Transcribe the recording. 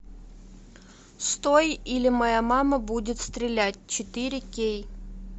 стой или моя мама будет стрелять четыре кей